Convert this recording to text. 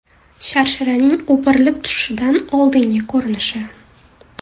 Sharsharaning o‘pirilib tushishidan oldingi ko‘rinishi.